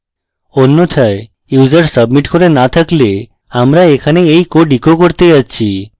অন্যথায় user submit না করে থাকলে আমরা এখানে এই code echo করতে যাচ্ছি